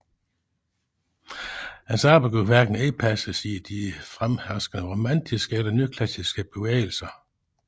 Hans arbejde kunne hverken indpasses i de fremherskende romantiske eller nyklassiske bevægelser